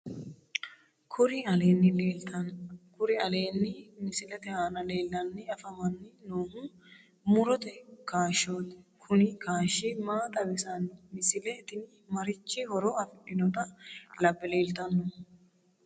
Kuri aleenni misilete aana leellanni afamanni noohu murote kaashshooti kuni kaashshi maa xawissanno misile tini marichi horo afidhinota labbe leeltannohu